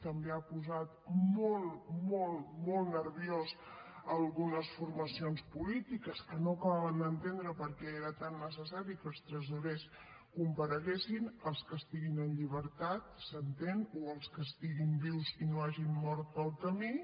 també ha posat molt molt molt nervioses algunes formacions polítiques que no acabaven d’entendre per què era tan necessari que els tresorers compareguessin els que estiguin en llibertat s’entén o els que estiguin vius i no hagin mort pel camí